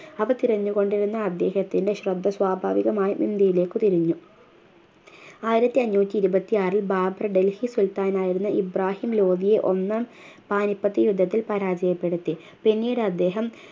അവ തിരഞ്ഞുകൊണ്ടിരുന്ന അദ്ദേഹത്തിൻ്റെ ശ്രദ്ധ സ്വാഭാവികമായും ഇന്ത്യയിലേക്കു തിരിഞ്ഞു ആയിരത്തി അഞ്ഞൂറ്റി ഇരുപത്തിയാറിൽ ബാബർ ഡല്‍ഹി സുൽത്താനായിരുന്ന ഇബ്രാഹിം ലോദിയെ ഒന്നാം പാനിപ്പത്ത് യുദ്ധത്തിൽ പരാജയപ്പെടുത്തി പിന്നീടദ്ദേഹം